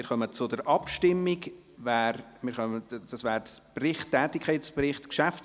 Wir kommen zur Abstimmung über den Tätigkeitsbericht GPK.